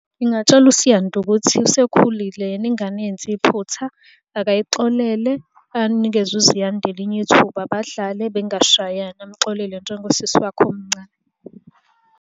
Ngingatshela uSiyanda ukuthi usekhulile yena ingane yenze iphutha, akayixolele, anikeze uZiyanda elinye ithuba badlale bengashayani, amuxolele njengosisi wakhe omncane.